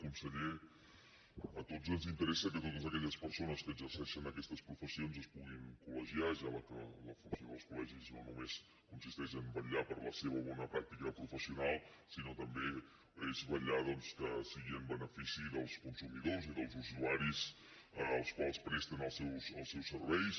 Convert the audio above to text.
conseller a tots ens interessa que totes aquelles persones que exerceixen aquestes professions es puguin col·legiar ja que la funció dels collegis consisteix no només a vetllar per la seva bona pràctica professional sinó que també és vetllar doncs perquè sigui en benefici dels consumidors i dels usuaris als quals presten els seus serveis